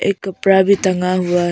एक कपड़ा भी टंगा हुआ है।